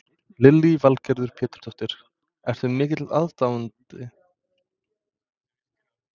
Lillý Valgerður Pétursdóttir: Ertu mikill aðdáandi?